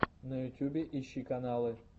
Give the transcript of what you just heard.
на ютьюбе ищи каналы